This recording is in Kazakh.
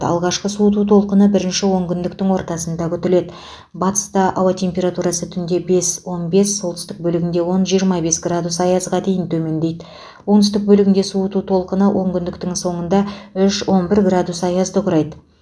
алғашқы суыту толқыны бірінші онкүндіктің ортасында күтіледі батыста ауа температурасы түнде бесон бес солтүстік бөлігінде онжиырма бес градус аязға дейін төмендейді оңтүстік бөлігінде суыту толқыны онкүндіктің соңында үшон бір градус аязды құрайды